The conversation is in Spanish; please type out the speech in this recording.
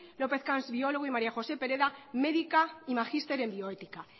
lópez cans biólogo y maría josé pereda médica y magister en bioética